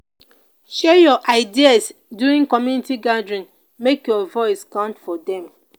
share your ideas during community gathering; make your voice count for dem.